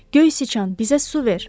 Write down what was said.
Göy siçan bizə su ver.